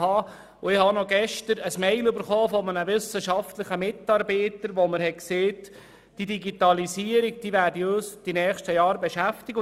Gestern erhielt ich noch eine E-Mail von einem wissenschaftlichen Mitarbeiter, der mir schrieb, die Digitalisierung werde uns in den nächsten Jahren beschäftigen.